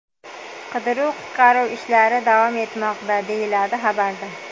Qidiruv-qutqaruv ishlari davom etmoqda”, deyiladi xabarda.